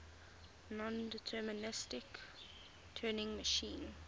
nondeterministic turing machine